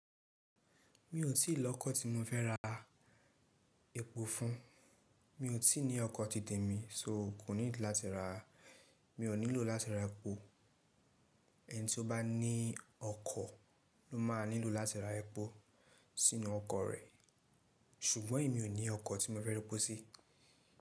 Mi ò tí ì lọ́kọ̀ tí mo fẹ́ ra epo fún, mi ò tí ì ní ọkọ̀ ti tèmi, só ò kú ní láti rà, mi ò nílò láti ra epo, ẹni tí ó bá ní ọkọ̀ ló má nílò láti ra epo sínú ọkọ̀ rẹ̀, ṣùgbọ́n èmi ò ní ọkọ̀ tí mo fẹ́ rọ́po sí.